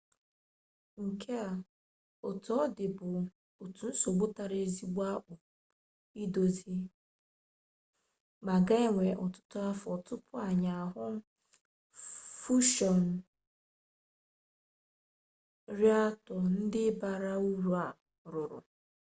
nke a otu ọ dị bụ otu nsogbu tara ezigbo akpụ idozi ma ga-ewe ọtụtụ afọ tupu anyị ahụ fushọn rịaktọ ndị bara uru a rụrụ